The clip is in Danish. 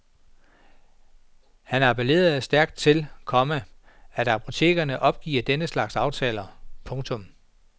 Han appellerer stærkt til, komma at apotekerne opgiver denne slags aftaler. punktum